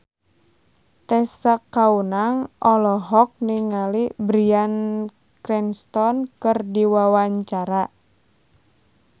Tessa Kaunang olohok ningali Bryan Cranston keur diwawancara